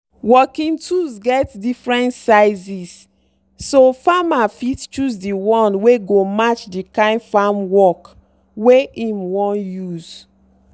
working tools get different sizes so farmer fit choose the one wey go match the kind farm work wey im wan use.